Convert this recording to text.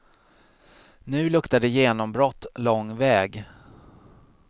Nu luktar det genombrott lång väg.